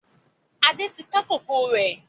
Adé tí ká kòkó rẹ